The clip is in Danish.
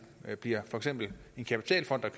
bliver for eksempel en kapitalfond der